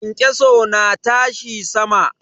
Kyankyaso na tashi sama.